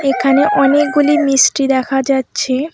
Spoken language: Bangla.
এখানে অনেকগুলি মিষ্টি দেখা যাচ্ছে।